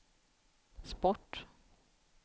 sport